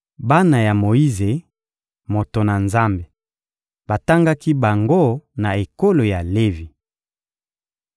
Bana ya Moyize, moto na Nzambe, batangaki bango na ekolo ya Levi.